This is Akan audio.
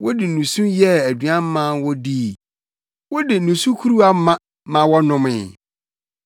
Wode nusu yɛɛ aduan maa wɔn dii; wode nusu kuruwama maa wɔn nomee.